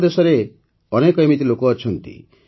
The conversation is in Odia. ଆମ ଦେଶରେ ଅନେକ ଏମିତି ଲୋକ ଅଛନ୍ତି